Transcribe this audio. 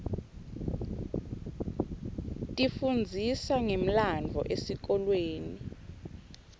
tifundzisa ngemlandvo esikolweni